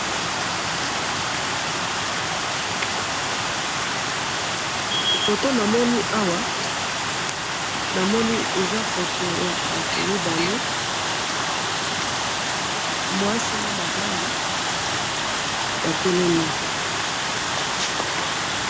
photo namoni awa eza photo ya batou mibale mwasi na mobali batelemi